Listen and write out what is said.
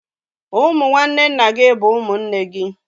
Ụmụ nwanne nna gị bụ ụmụnne gị